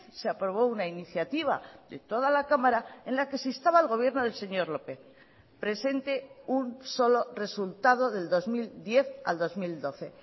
se aprobó una iniciativa de toda la cámara en la que se instaba al gobierno del señor lópez presente un solo resultado del dos mil diez al dos mil doce